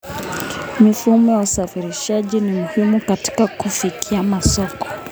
Mifumo ya usafirishaji ni muhimu katika kufikia masoko.